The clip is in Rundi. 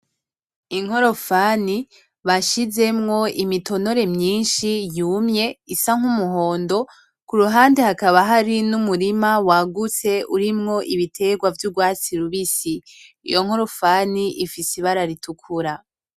Inkorofani bashizemwo imitonore mwinshi yumye isa nk'umuhondo, ku ruhande hakaba hari n'umurima wagutse urimwo ibitegwa vy'ugwatsi rubisi, iyo nkorofani ifise ibara ritukura.